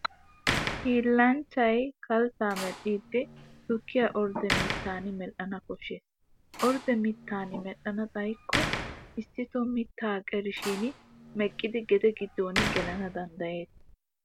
Hiillanchchay kalttaa medhdhiiddi tuutiya ordde mittan medhdhana koshshes. Ordde mittan medhdhana xayikko issitoo mittaa qerishin meqqidi gede giddon gelana danddayes.